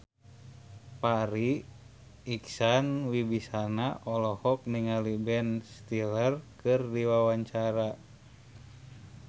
Farri Icksan Wibisana olohok ningali Ben Stiller keur diwawancara